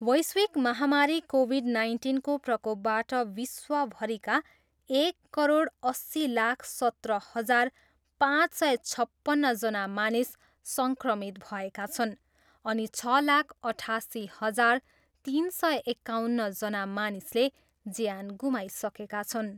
वैश्विक महामारी कोभिड नाइन्टिनको प्रकोपबाट विश्वभरिका एक करोड अस्सी लाख सत्र हजार पाँच सय छप्पन्नजना मानिस सङ्क्रमित भएका छन् अनि छ लाख अठासी हजार तिन सय एकाउन्नजना मानिसले ज्यान गुमाइसकेका छन्।